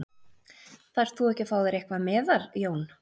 Þarft þú ekki að fá þér eitthvað meðal Jón?